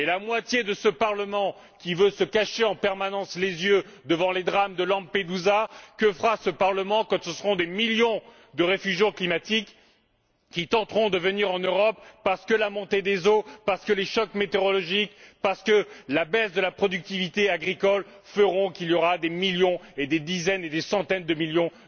Et la moitié de ce Parlement, qui veut se cacher en permanence les yeux devant les drames de Lampedusa, que fera t elle quand ce seront des millions de réfugiés climatiques qui tenteront de venir en Europe, parce que la montée des eaux, parce que les chocs météorologiques, parce que la baisse de la productivité agricole feront qu'ils seront des millions, des dizaines et des centaines de millions